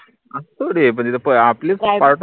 असं थोडी ए पन तिथे आपले